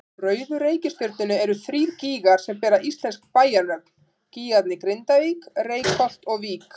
Á rauðu reikistjörnunni eru þrír gígar sem bera íslensk bæjarnöfn, gígarnir Grindavík, Reykholt og Vík.